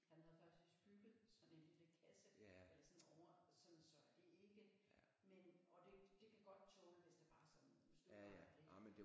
Han havde faktisk bygget sådan en lille kasse eller sådan over sådan så at det ikke men og det det kan godt tåle hvis det bare sådan er støvregn ikke